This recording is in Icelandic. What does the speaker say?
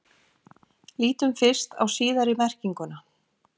Lítum fyrst á síðari merkinguna.